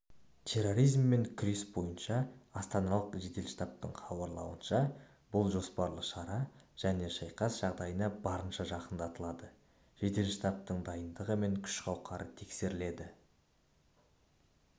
терроризммен күрес бойынша астаналық жедел штабтың хабарлауынша бұл жоспарлы шара және шайқас жағдайына барынша жақындатылады жедел штабтың дайындығы мен күш-қауқары тексеріледі